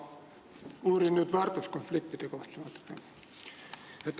Ma uurin natuke väärtuskonfliktide kohta.